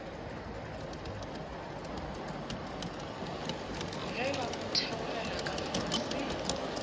ge ba theogela ka fase